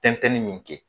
Tɛntɛnni min kɛ